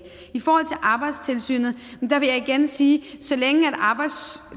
i forhold til arbejdstilsynet vil jeg igen sige